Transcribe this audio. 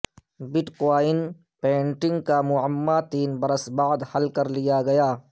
but coin painting کا معمہ تین برس بعد حل کر لیا گیا